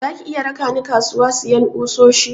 Zaki iya raka ni kasuwa siyan kusoshi?